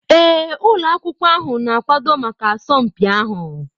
Ee ụlọ akwụkwọ ahụ na-akwado maka asọmpi ahụ.